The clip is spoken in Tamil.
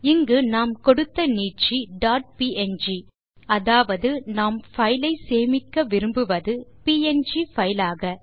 இங்கு நாம் கொடுத்த நீட்சி டாட் ப்ங் அதாவது நாம் பைலை சேமிக்க விரும்புவது ப்ங் பைல் ஆக